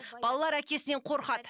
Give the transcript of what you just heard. балалар әкесінен қорқады